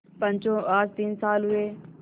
पंचो आज तीन साल हुए